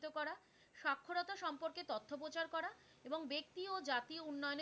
এবং ব্যক্তি ও জাতির উন্নয়নে,